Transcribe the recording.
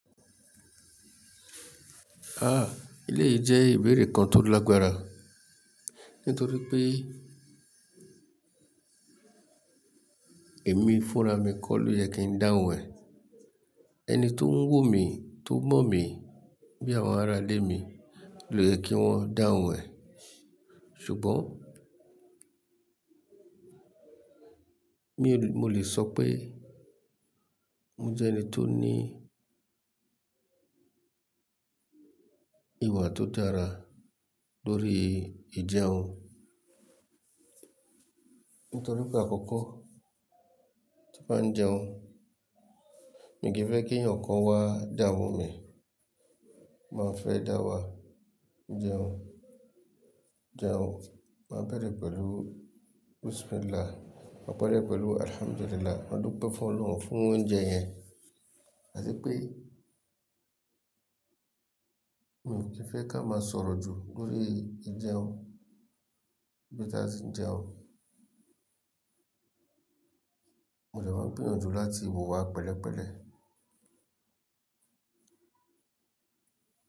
Aah! Eléyìí jẹ́ ìbéèrè kan tó lágbára nítorí pé èmi fúnra mi kọ́ ló yẹ kí n dáhùn ẹ̀. Ẹni tó ń wù mí, tó mọ̀ mí bí àwọn ará ilé mi ló yẹ kí wọ́n dáhùn ẹ̀. Ṣùgbọ́n mi ò lè, mo lè sọ pé mo jẹ́ ẹni tó ní ìwà tó dára lórí ìjẹun. Nítorí pé àkọ́kọ́ tím bá jẹun, mi kì í fẹ́ kí ẹ̀yàn kan wá dámu mi. Mo máa fẹ́ dá wàá jẹun. Jẹun máa bẹ̀rẹ̀ pẹ̀lú bismillah, máa pari e pẹ̀lú alhamdulillah, máa dúpẹ́ fún Ọlọ̀hun fún oúnjẹ yẹn. Áti pé mi kì í fẹ́ ká máa sọ̀rọ̀ jù lórí ìjẹun bí tí a ti ń jẹun. Mo lè máa gbìyànjú láti wò wá pẹ̀lẹ́pẹ̀lẹ́.